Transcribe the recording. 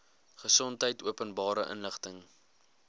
gesondheid openbare inligting